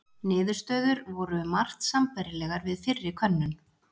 niðurstöður voru um margt sambærilegar við fyrri könnun